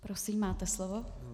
Prosím, máte slovo.